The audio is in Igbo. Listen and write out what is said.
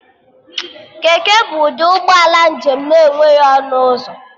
Keke bụ ụdị ụgbọala njem na-enweghị ọnụ ụzọ